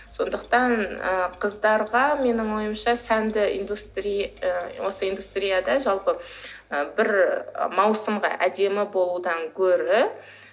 сондықтан ы қыздарға менің ойымша сәнді осы индустрияда жалпы бір маусымға әдемі болудан гөрі